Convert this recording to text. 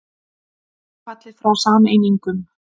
Ekki fallið frá sameiningum